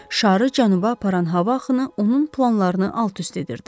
Şarı cənuba aparan hava axını onun planlarını alt-üst edirdi.